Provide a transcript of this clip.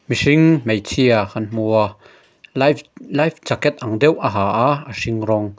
mihring hmeichhia kan hmua life life jacket ang deuh a ha a a hring rawng.